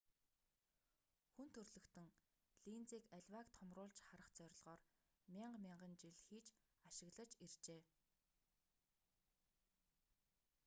хүн төрөлхтөн линзийг аливааг томруулж харах зорилгоор мянга мянган жил хийж ашиглаж иржээ